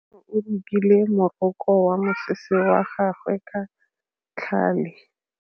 Kutlwanô o rokile morokô wa mosese wa gagwe ka tlhale.